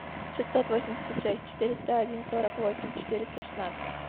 шестьсот восемьдесят шесть четыреста один сорок восемь четыреста шестнадцать